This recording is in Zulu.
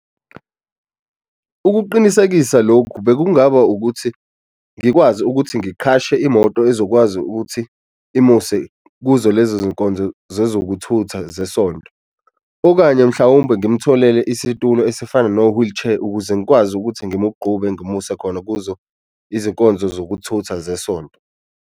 Ukuqinisekisa lokhu bekungaba ukuthi ngikwazi ukuthi ngiqhashe imoto ezokwazi ukuthi imuse kuzo lezo zinkonzo zezokutha zesonto, okanye mhlawumbe ngimtholele isitulo esifana no-wheelchair ukuze ngikwazi ukuthi ngimgqube ngimuse khona kuzo izinkonzo zokuthutha zesonto.